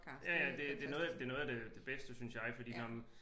Ja ja det det er noget af noget af det bedste synes jeg fordi nåh men